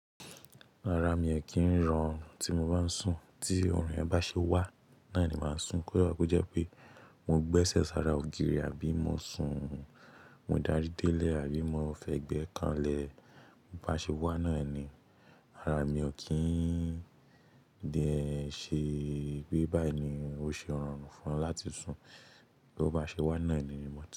Ara mi o kì ń rọrùn tí mo bá ń sùn. Tí ọ̀run yen bá ṣe wá náà ni màá sùn. Kó dá ko jẹ́ pé mo gbẹ́sẹ̀ sára ògiri àbí mo sùn, mo dárí délẹ̀ àbí mo fẹ́ gbé kàn lẹ. Bo ba ṣe wá náni, ara mi ò kí ń dé ṣe pé báyìí ni ó ṣe rọrùn fún láti sùn. Bí ó bá ṣe wá náà ẹni ni mo ti.